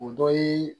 O dɔ ye